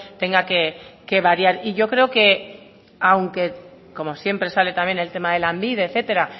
tenga que variar y yo creo que aunque como siempre sale también el tema de lanbide etcétera